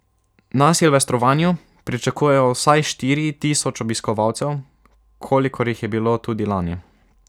Na silvestrovanju pričakujejo vsaj štiri tisoč obiskovalcev, kolikor jih je bilo tudi lani.